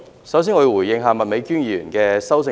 首先，我想回應麥美娟議員的修正案。